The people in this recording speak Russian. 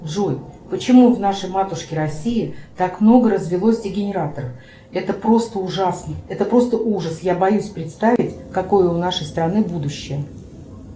джой почему в нашей матушке россии так много развелось дегенератов это просто ужасно это просто ужас я боюсь представить какое у нашей страны будущее